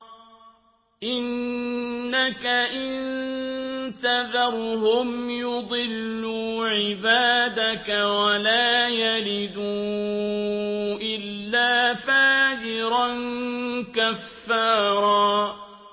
إِنَّكَ إِن تَذَرْهُمْ يُضِلُّوا عِبَادَكَ وَلَا يَلِدُوا إِلَّا فَاجِرًا كَفَّارًا